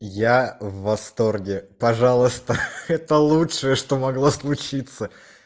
я в восторге пожалуйста это лучшее что могло случиться